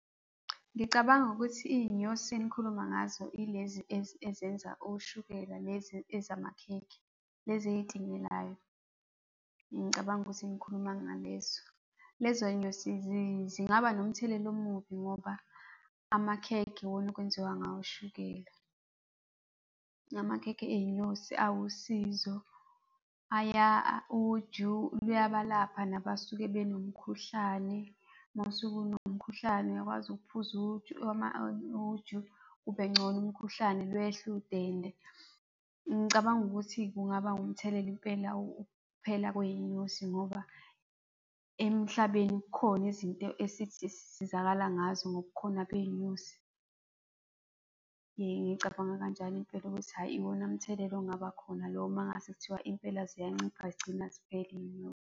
Ngicabanga ukuthi iy'nyosi enikhuluma ngazo yilezi ezenza oshukela, lezi ezamakhekhe, lezi ey'tinyelayo. Ngicabanga ukuthi nikhuluma ngalezo. Lezo yinyosi zingaba nomthelela omubi ngoba amakhekhe yiwona okwenziwa ngawo ushukela. Amakhekhe ey'nyosi awusizo, uju luyabalapha nabasuke benomkhuhlane. Uma usuke unomkhuhlane, uyakwazi ukuphuza uju uju, ubengcono umkhuhlane lwehle udende. Ngicabanga ukuthi kungaba nomthelela impela ukuphela kwey'nyosi ngoba emhlabeni kukhona izinto esisizakala ngazo ngobukhona bezinyosi. Ngicabanga kanjalo impela ukuthi hhayi, yiwona mthelela ongaba khona lowo mangase kuthiwa impela ziyancipha zigcina ziphela iy'nyosi.